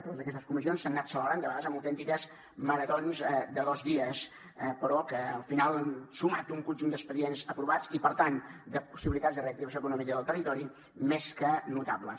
totes aquestes comissions s’han anat celebrant de vegades amb autèntiques maratons de dos dies però que al final han sumat un conjunt d’expedients aprovats i per tant de possibilitats de reactivació econòmica del territori més que notables